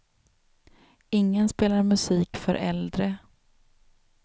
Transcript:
Ingen spelar musik för äldre.